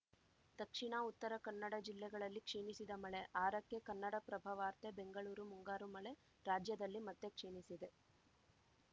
ದಕ್ಷಿಣ ಉತ್ತರ ಕನ್ನಡ ಜಿಲ್ಲೆಗಳಲ್ಲಿ ಕ್ಷೀಣಿಸಿದ ಮಳೆ ಆರಕ್ಕೆ ಕನ್ನಡಪ್ರಭ ವಾರ್ತೆ ಬೆಂಗಳೂರು ಮುಂಗಾರು ಮಳೆ ರಾಜ್ಯದಲ್ಲಿ ಮತ್ತೆ ಕ್ಷೀಣಿಸಿದೆ